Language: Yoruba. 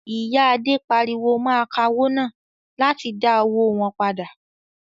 Ìyà Adé pariwo mọ́ akawó náà láti dá owó wọn padà.